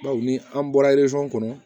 Baw ni an bɔra kɔnɔ